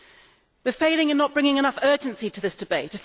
We are failing in not bringing enough urgency to this debate.